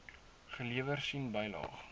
gelewer sien bylaag